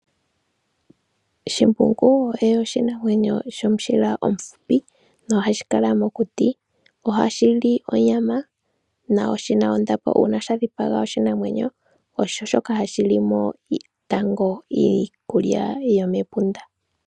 Shimbungu osho oshinamwenyo shomushila omuhupi nohashi kala mokuti. Ohashili onyama na oshina ondapo. Uuna sha dhipaga oshinamwenyo oha shilimo tango iikulya yomepunda